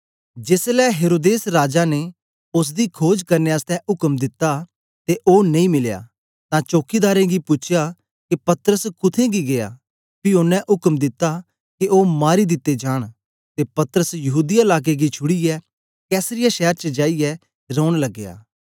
जेसलै हेरोदेस राजा ने ओसदी खोज करने आसतै उक्म दित्ता ते ओ नेई मिलया तां चौकीदारें गी पूछया के पतरस कुत्थें गी गीया पी ओनें उक्म दिता के ओ मारी दिते जांन ते पतरस यहूदीया लाके गी छुड़ीयै कैसरिया शैर च जाईयै रौन लगया